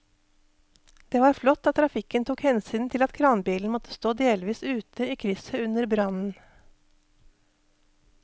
Det var flott at trafikken tok hensyn til at kranbilen måtte stå delvis ute i krysset under brannen.